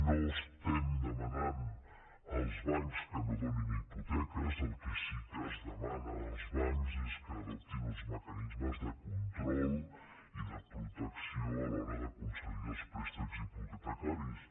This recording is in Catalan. no estem demanant als bancs que no donin hipoteques el que sí que es demana als bancs és que adoptin uns mecanismes de control i de protecció a l’hora de concedir els préstecs hipotecaris